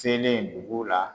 Senlen dugu la.